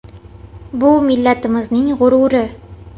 Bu millatimizning g‘ururi.